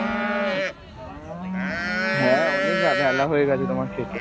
হ্যাঁ অনেক বেলা হয়ে গেছে তোমার খেতে